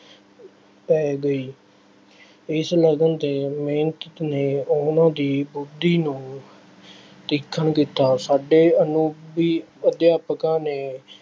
ਪੈ ਗਈ। ਇਸ ਲਗਨ ਅਤੇ ਮਿਹਨਤ ਨੇ ਉਹਨਾ ਦੀ ਬੁੱਧੀ ਨੂੰ ਤੀਖਣ ਕੀਤਾ। ਸਾਡੇ ਅਨੁਰੂਪ ਵੀ ਅਧਿਆਪਕਾਂ ਨੇ,